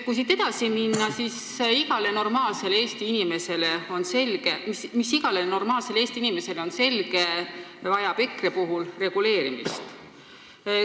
Kui siit nüüd edasi minna: see, mis igale normaalsele Eesti inimesele on selge, vajab EKRE puhul reguleerimist.